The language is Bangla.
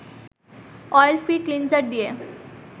অয়েল ফ্রি ক্লিনজার দিয়ে